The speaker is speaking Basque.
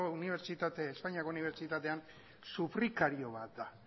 espainiako unibertsitatean sufrikario bat da